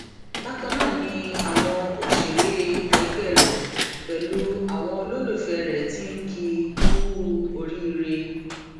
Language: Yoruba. bákan ná ni àwọn òṣèré ẹgbẹ rẹ pẹlú àwọn olólùfẹ rẹ ti ń kì í kú oríire